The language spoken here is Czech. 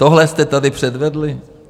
Tohle jste tady předvedli?